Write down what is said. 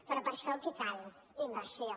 però per a això què cal inversió